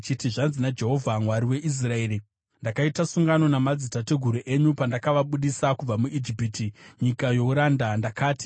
“Zvanzi naJehovha, Mwari weIsraeri: Ndakaita sungano namadzitateguru enyu pandakavabudisa kubva muIjipiti, munyika youranda. Ndakati,